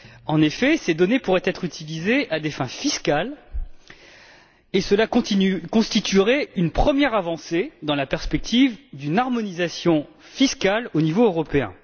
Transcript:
En effet, ces données pourraient être utilisées à des fins fiscales, ce qui constituerait une première avancée dans la perspective d'une harmonisation fiscale au niveau européen.